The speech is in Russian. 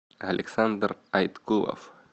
александр айткулов